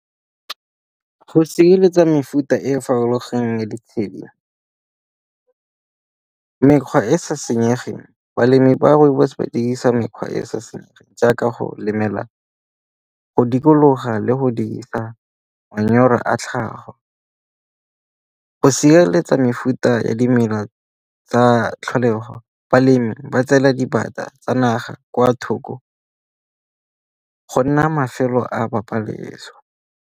Go sireletsa mefuta e farologaneng ya ditshedi mekgwa e e sa senyegeng, balemi ba rooibos ba dirisa mekgwa e e sa senyegeng jaaka go lemela, go dikologa le go dirisa manyoro a tlhago. Go sireletsa mefuta ya dimela tsa tlholego, balemi ba tseela dipata tsa naga kwa thoko go nna mafelo a .